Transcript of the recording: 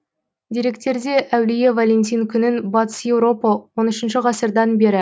деректерде әулие валентин күнін батыс еуропа онт үшінші ғасырдан бері